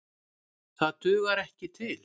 Það dugar ekki til.